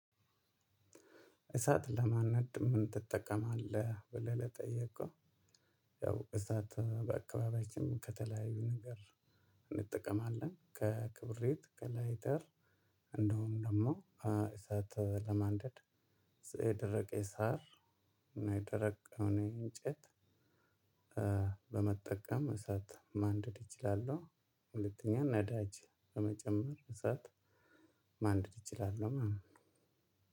እሳት ለማነድ ምን ትጠቀማለህ? ብለህ ለጠየከው ያው እሳት በአካባቢያችን ከተለያዩ ነገር እንጠቀማለን። ከክብሬት ከላይተር። እንደውም ደግሞ እሳት ለማንደድ የደረቀ ሳር እና የደረቀውን እንጨት በመጠቀም እሳት ማንደድ እችላለሁ። ሁለተኛ ነዳጅ በመጨመር እሳት ማንደድ እይችላለሁ።